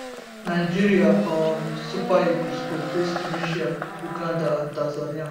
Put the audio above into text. nigeria um super eagles go face tunisia uganda and tanzania